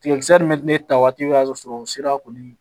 Tigɛ kisɛ nin mɛ ne ta waati o y'a sɔrɔ o sera kɔni